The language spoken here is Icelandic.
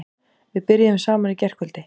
Við byrjuðum saman í gærkvöld.